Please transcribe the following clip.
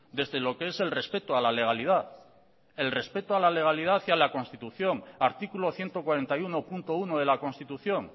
desde lo que es el respeto a la legalidad el respeto a la legalidad y la constitución artículo ciento cuarenta y uno punto uno de la constitución